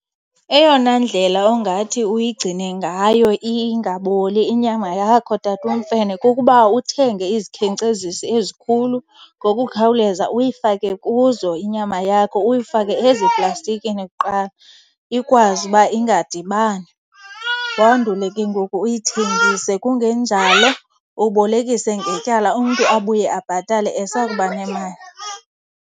Eyona ndlela ongathi uyigcine ngayo ingaboli inyama yakho tatuMfene kukuba uthenge izikhenkcezisi ezikhulu ngokukhawuleza, uyifake kuzo inyama yakho. Uyifake eziplastikini kuqala ikwazi uba ingadibani, wandule ke ngoku uyithengise. Kungenjalo ubolekise ngetyala, umntu abuye abhatale esakuba nemali.